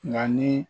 Nka ni